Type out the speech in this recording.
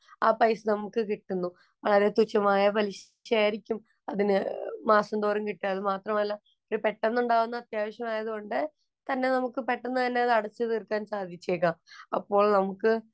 ആ പൈസ നമുക്ക് കിട്ടുന്നു. വളരെ തുച്ഛമായ പലിശയായിരിക്കും അതിനു മാസം തോറും കിട്ടുക. അത് മാത്രമല്ല, ഒരു പെട്ടന്നുണ്ടാകുന്ന അത്യാവശ്യമായത് കൊണ്ട് തന്നെ നമുക്ക് പെട്ടന്ന് തന്നെ അടച്ചുതീര്‍ക്കാന്‍ സാധിച്ചേക്കാം. അപ്പോള്‍ നമുക്ക് വളരെയധികം മറ്റുള്ള